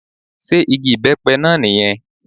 Sé igi ìbẹ́pẹ náà ní yẹn